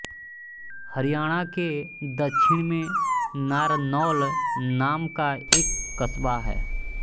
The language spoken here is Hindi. हरियाणा के दक्षिण में नारनौल नाम का एक कस्बा है